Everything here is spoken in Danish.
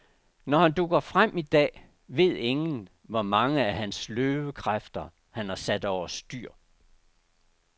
Når han dukker frem i dag, ved ingen, hvor mange af hans løvekræfter, han har sat over styr.